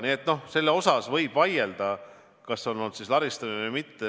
Nii et võib vaielda, kas see on olnud laristamine või mitte.